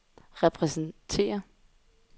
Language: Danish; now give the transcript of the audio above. repræsenterer